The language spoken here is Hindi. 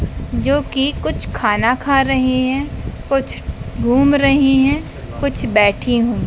जो कि कुछ खाना खा रही हैं कुछ घूम रही हैं कुछ बैठी हूं।--